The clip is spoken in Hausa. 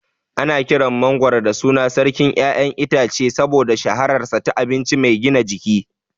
Ana kiran mangwaro da sunan "Sarkin ƴaƴan itace" saboda shahararsa ta abinci mai gina jiki.